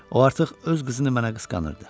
O artıq öz qızını mənə qısqanırdı.